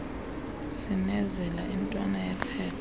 cinezela intwana yephepha